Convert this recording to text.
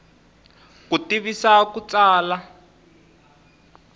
ku tivisa hi ku tsala